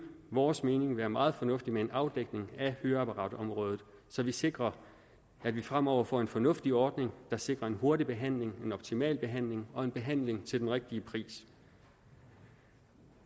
vores mening være meget fornuftigt med en afdækning af høreapparatområdet så vi sikrer at vi fremover får en fornuftig ordning der sikrer en hurtig behandling en optimal behandling og behandling til den rigtige pris